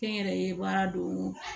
Kɛ n yɛrɛ ye baara don